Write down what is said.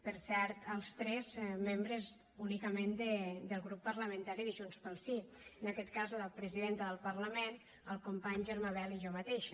per cert els tres membres únicament del grup parlamentari de junts pel sí en aquest cas la presidenta del parlament el company germà bel i jo mateixa